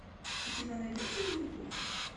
у тебя найдется винни пух